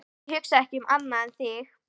Ég hugsa ekki um annað en þig.